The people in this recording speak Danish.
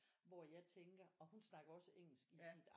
Hvor jeg tænker og hun snakker også engelsk i sit